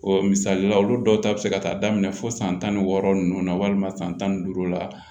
misali la olu dɔw ta bɛ se ka taa daminɛ fo san tan ni wɔɔrɔ ninnu na walima san tan ni duuru la